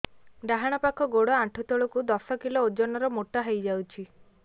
ଡାହାଣ ପାଖ ଗୋଡ଼ ଆଣ୍ଠୁ ତଳକୁ ଦଶ କିଲ ଓଜନ ର ମୋଟା ହେଇଯାଇଛି